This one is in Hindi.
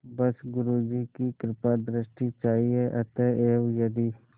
बस गुरु जी की कृपादृष्टि चाहिए अतएव यदि